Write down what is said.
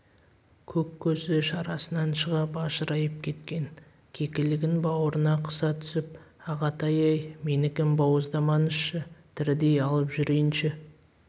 көк көзі шарасынан шыға бажырайып кеткен кекілігін бауырына қыса түсіп ағатай-ай менікін бауыздамаңызшы тірідей алып жүрейінші